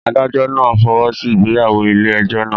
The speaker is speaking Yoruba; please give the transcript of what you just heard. Adájọ́ náà fọwọ́ sí ìgbéyàwó ilé ẹjọ́ náà.